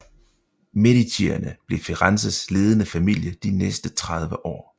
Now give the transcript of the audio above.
Medicierne blev Firenzes ledende familie de næste tredive år